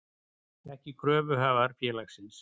ekki kröfuhafar félagsins.